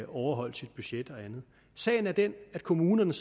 overholdt sit budget og andet sagen er den at kommunerne